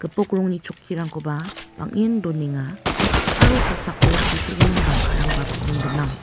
gipok rongni chokkirangkoba bang·en donenga aro kosako sitegimin bangkarangba bang·en gnang.